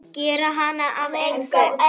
Gera hana að engu.